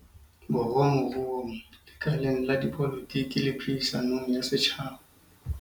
Borwa moruong, lekaleng la dipolotiki le phedi-sanong ya setjhaba.